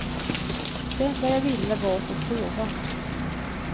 Det enda jag ville var att få sova.